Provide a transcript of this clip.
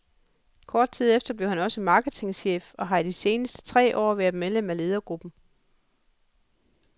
Kort tid efter blev han også marketingchef og har i de sidste tre år været medlem af ledergruppen.